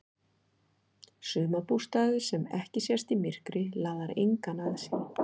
Sumarbústaður sem ekki sést í myrkri laðar engan að sér.